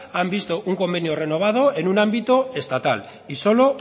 han visto un convenio renovado en un ámbito estatal y solo